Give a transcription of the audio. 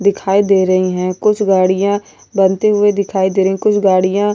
दिखायी दे रही है कुछ गाडीया बनती हुई दिखायी दे रही है कुछ गाडीया --